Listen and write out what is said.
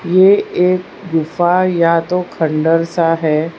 ये एक गुफा या तो खंडहर सा है।